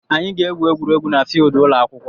Anyị ga-egwu egwuregwu na filidi ụlọ akwụkwọ.